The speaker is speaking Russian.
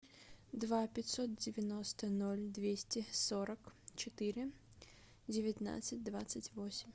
два пятьсот девяносто ноль двести сорок четыре девятнадцать двадцать восемь